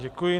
Děkuji.